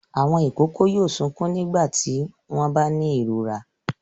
Àwọn ìkókó yóò sunkún nígbà tí wọ́n bá ní ìrora.